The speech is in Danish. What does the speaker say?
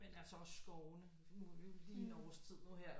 Men altså også skovene nu er vi jo lige en årstid nu her